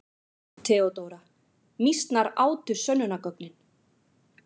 THEODÓRA: Mýsnar átu sönnunargögnin.